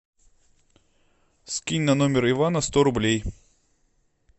скинь на номер ивана сто рублей